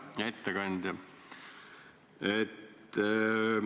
Hea ettekandja!